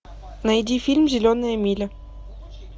найди фильм зеленая миля